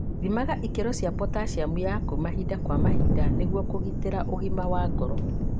Thimaga ikĩro cia potaciamu yaku mahinda kwa mahinda nĩguo kũgitĩra ũgima wa ngoro